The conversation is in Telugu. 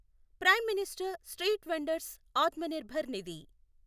prime minister street vendor's Atmanirbhar Nidhi